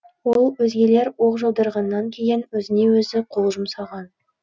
ол өзгелер оқ жаудырғаннан кейін өзіне өзі қол жұмсаған